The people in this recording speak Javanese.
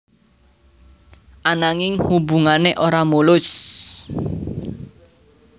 Ananging hubungané ora mulus